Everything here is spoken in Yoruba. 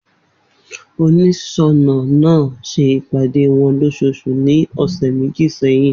Oniṣọnà náà ṣe ìpàdé wọn lósosù ní ọ̀sẹ̀ méjì sẹ́yìn